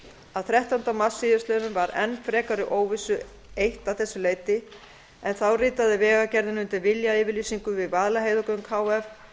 að þrettánda mars síðastliðinn var enn frekari óvissu eytt að þessu leyti en þá ritaði vegagerðin undir viljayfirlýsingu við vaðlaheiðargöng h f um